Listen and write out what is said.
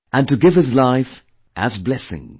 And to give his life, as blessing